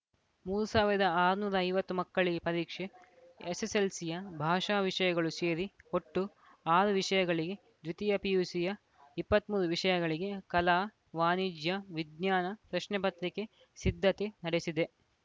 ಮೂರು ಸಾವಿರದ ಆರುನೂರ ಐವತ್ತು ಮಕ್ಕಳಿಗೆ ಪರೀಕ್ಷೆ ಎಸ್ಸೆಸ್ಸೆಲ್ಸಿಯ ಭಾಷಾ ವಿಷಯಗಳೂ ಸೇರಿ ಒಟ್ಟು ಆರು ವಿಷಯಗಳಿಗೆ ದ್ವಿತೀಯ ಪಿಯುಸಿಯ ಇಪ್ಪತ್ತ್ ಮೂರು ವಿಷಯಗಳಿಗೆ ಕಲಾ ವಾಣಿಜ್ಯ ವಿಜ್ಞಾನ ಪ್ರಶ್ನೆ ಪತ್ರಿಕೆ ಸಿದ್ಧತೆ ನಡೆಸಿದೆ